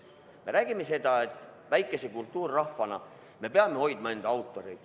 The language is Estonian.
Me räägime seda, et väikese kultuurrahvana me peame hoidma enda autoreid.